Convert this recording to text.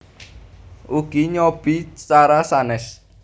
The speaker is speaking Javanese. Ugi nyobi cara sanes